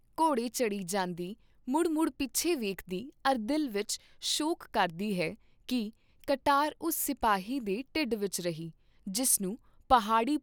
ਘੋੜੇ ਚੜੀ ਜਾਂਦੀ ਮੁੜ ਮੁੜ ਪਿਛੇ ਵੇਖਦੀ ਅਰ ਦਿਲ ਵਿਚ ਸ਼ੋਕ ਕਰਦੀ ਹੈ ਕੀ ਕਟਾਰ ਉਸ ਸਿਪਾਹੀ ਦੇ ਢਿੱਡ ਵਿਚ ਰਹੀ, ਜਿਸਨੂੰ ਪਹਾੜੀ